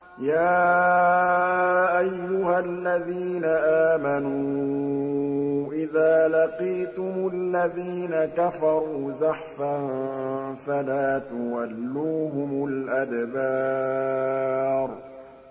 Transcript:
يَا أَيُّهَا الَّذِينَ آمَنُوا إِذَا لَقِيتُمُ الَّذِينَ كَفَرُوا زَحْفًا فَلَا تُوَلُّوهُمُ الْأَدْبَارَ